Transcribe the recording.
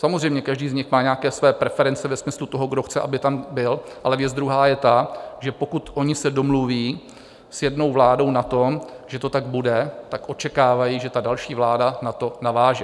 Samozřejmě, každý z nich má nějaké své preference ve smyslu toho, kdo chce, aby tam byl, ale věc druhá je ta, že pokud oni se domluví s jednou vládou na tom, že to tak bude, tak očekávají, že ta další vláda na to naváže.